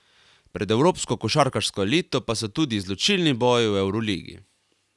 Pred evropsko košarkarsko elito pa so tudi izločilni boji v evroligi.